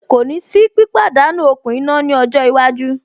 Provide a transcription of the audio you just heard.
Kò ní sí pípàdánú okùn iná ní ọjọ́ iwájú.